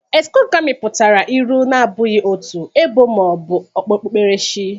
exogami pụtara ịlụ na-abụghị otu, ebo, ma ọ bụ okpukperechi